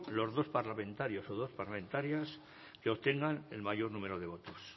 los dos parlamentarios o dos parlamentarias que obtengan el mayor número de votos